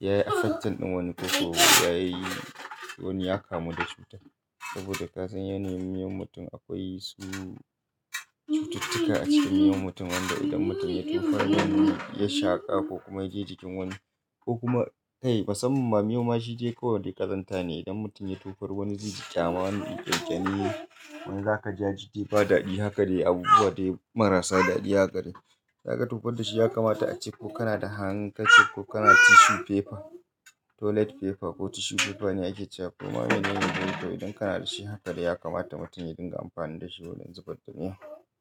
yayi affect ɗin wani ko ko yayi wani ya kamu da cuta. Saboda kazan yane miyon mutum akwai su cututtuka a cikin miyon mutum wanda idan mutum ya tofa dan ya shaƙa ko kuma yaje cikin wani ko kuma kai musamman ma miyo ma shi je kawai dai ƙazanta ne idan mutum ya tofar wani zai ji ƙyama wani ƙyanƙyane wanda aka ji ya ji bai da daɗi haka dai abu wa dai marasa daɗi haka dai. Zaka tofar da shi ya kamata a cikku kana da hankici ko kana tissue paper, toilet paper ko tissue paper ne ake cewa. Kuma menene idan kana da shi haka dai ya kamata mutum ya dinga amfani da shi wurin zubar da miyo.